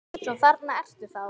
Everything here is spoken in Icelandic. Svo þarna ertu þá!